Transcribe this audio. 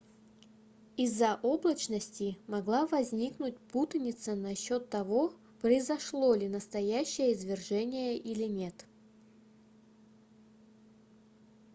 иза-за облачности могла возникнуть путаница насчёт того произошло ли настоящее извержение или нет